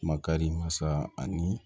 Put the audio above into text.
Makari masa ani